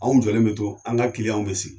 Anw jɔlen bɛ to an ka bɛ sigi